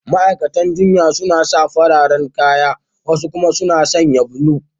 Ma’aikatan jinya su ma suna sa fararen kaya, wasu kuma suna sanye kala blue.